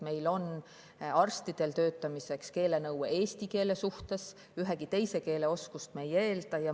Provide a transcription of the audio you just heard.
Meil on arstidel töötamiseks eesti keele nõue, ühegi teise keele oskust me ei eelda.